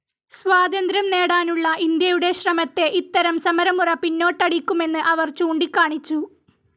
സ്വാതന്ത്ര്യം നേടാനുള്ള ഇന്ത്യയുടെ ശ്രമത്തെ ഇത്തരം സമരമുറ പിന്നോട്ടടിക്കുമെന്ന് അവർ ചൂണ്ടിക്കാണിച്ചു.